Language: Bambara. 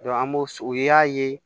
an b'o o y'a ye